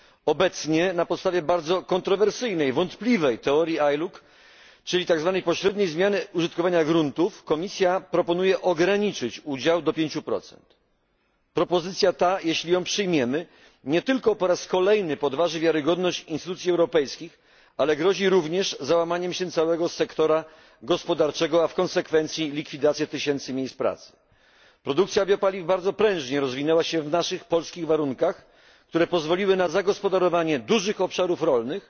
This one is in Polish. Obecnie na podstawie bardzo kontrowersyjnej, wątpliwej, teorii ILUC, czyli tzw. pośredniej zmiany użytkowania gruntów, komisja proponuje ograniczyć udział do 5. Propozycja ta, jeśli ją przyjmiemy, nie tylko po raz kolejny podważy wiarygodność instytucji europejskich, ale zagrozi również załamaniem się całego sektora gospodarki, a w konsekwencji likwidacją tysięcy miejsc pracy. Produkcja biopaliw bardzo prężnie rozwinęła się w naszych polskich warunkach, które pozwoliły na zagospodarowanie dużych obszarów rolnych